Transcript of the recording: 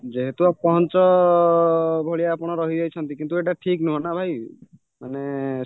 ଯେହେତୁ ଅପହଞ୍ଚ ଭଳିଆ ଆପଣ ରହିଯାଇଛନ୍ତି କିନ୍ତୁ ଏଇଟା ଠିକ ନୁହଁନା ଭାଇ ମାନେ